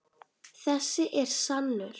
Þessi er sannur.